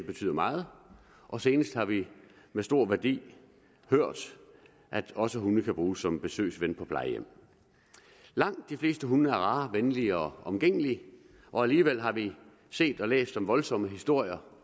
betyder meget og senest har vi med stor værdi hørt at også hunde kan bruges som besøgsven på plejehjem langt de fleste hunde er rare venlige og omgængelige og alligevel har vi set og læst om voldsomme historier